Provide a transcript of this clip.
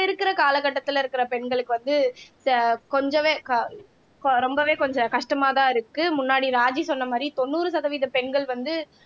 இருக்கிற காலகட்டத்தில இருக்கிற பெண்களுக்கு வந்து கொஞ்சமே க ரொம்பவே கொஞ்சம் கஷ்டமாதான் இருக்கு முன்னாடி ராஜி சொன்ன மாதிரி தொண்ணூறு சதவீத பெண்கள் வந்து